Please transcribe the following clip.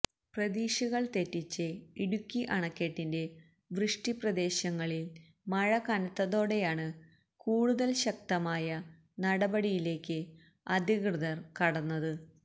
പ്രതീക്ഷകള് തെറ്റിച്ച് ഇടുക്കി അണക്കെട്ടിന്റെ വൃഷ്ടിപ്രദേശങ്ങളില് മഴകനത്തതോടെയാണ് കൂടുതല് ശക്തമായ നടപടിയിലേക്ക് അധികൃതര് കടന്നത്